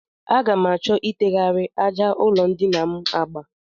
Aga m achọ itegharị àjà ụlọndina m agba